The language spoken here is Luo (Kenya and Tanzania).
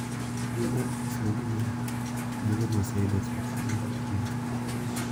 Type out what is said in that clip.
Gin adres mag imel mage ma aseyudo chakre nyoro otieno?